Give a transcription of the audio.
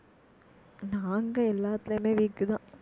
நாங்க எல்லாத்துலயுமே weak தான்